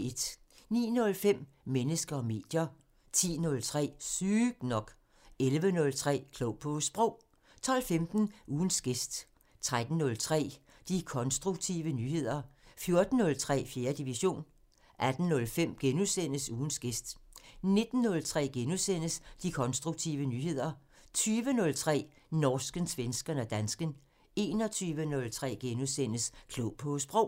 09:05: Mennesker og medier 10:03: Sygt nok 11:03: Klog på Sprog 12:15: Ugens gæst 13:03: De konstruktive nyheder 14:03: 4. division 18:05: Ugens gæst * 19:03: De konstruktive nyheder * 20:03: Norsken, svensken og dansken 21:03: Klog på Sprog *